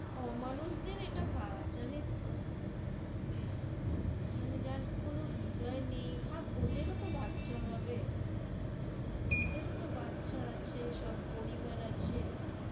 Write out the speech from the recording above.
অমানুষদের এটা কাজ জানিস তহ মানে যার কোন হৃদয় নেই, ভাব ওদের ও তহ বাচ্চা হবে, ওদের ও তহ বাচ্চা আছে, সব পরিবার আছে